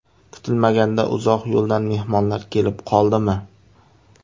Kutilmaganda uzoq yo‘ldan mehmonlar kelib qoldimi?